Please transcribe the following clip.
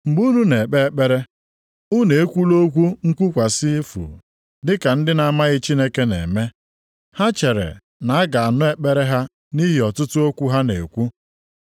Mgbe unu na-ekpe ekpere, unu ekwula okwu nkwukwasị efu dị ka ndị na-amaghị Chineke na-eme. Ha chere na a ga-anụ ekpere ha nʼihi ọtụtụ okwu ha na-ekwu.